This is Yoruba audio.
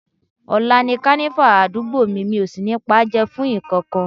Ọ̀la ni Kànífà àdúgbò mi, mi ò sì ní paájẹ́ fún nǹkankan